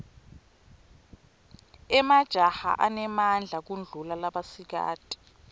emajaha anemadla kudulla labasikati